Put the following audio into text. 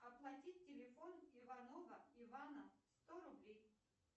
оплатить телефон иванова ивана сто рублей